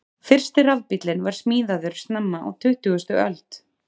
Fyrsti rafbíllinn var smíðaður snemma á tuttugustu öld.